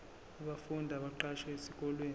abafundi abaqashwe esikoleni